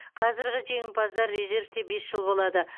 қазіргі жеңімпаздар резервте бес жыл болады